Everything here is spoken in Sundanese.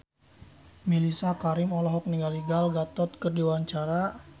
Mellisa Karim olohok ningali Gal Gadot keur diwawancara